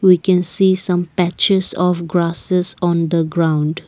we can see some patches of grasses on the ground.